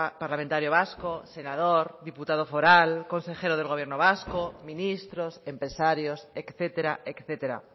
parlamentario vasco senador diputado foral consejero del gobierno vasco ministros empresarios etcétera etcétera